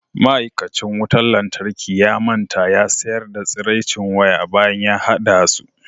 ma'aikacin wutar lantarki ya manta ya sayar da tsiraicin waya bayan ya hada su